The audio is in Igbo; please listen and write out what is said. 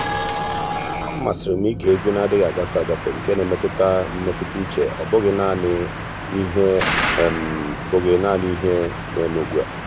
ọ́ màsị́rị́ m ị́gè égwu nà-adị́ghị́ ágafe ágafe nke nà-èmètụ́tà mmètụ́ta úchè ọ́ bụ́ghị́ nāànị́ ìhè bụ́ghị́ nāànị́ ìhè nà-èmé ugbu a.